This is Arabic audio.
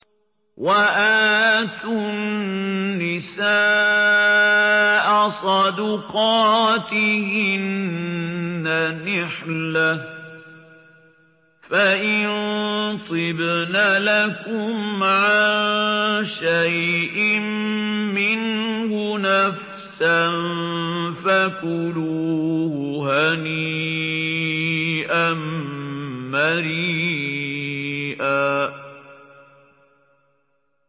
وَآتُوا النِّسَاءَ صَدُقَاتِهِنَّ نِحْلَةً ۚ فَإِن طِبْنَ لَكُمْ عَن شَيْءٍ مِّنْهُ نَفْسًا فَكُلُوهُ هَنِيئًا مَّرِيئًا